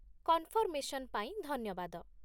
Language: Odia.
କନ୍‌ଫର୍‌ମେସନ୍ ପାଇଁ ଧନ୍ୟବାଦ।